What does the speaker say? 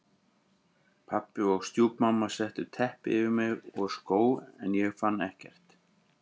Pabbi og stjúpmamma settu teppi yfir mig og skó en ég fann ekkert.